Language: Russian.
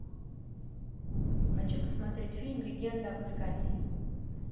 хочу посмотреть фильм легенда об искателе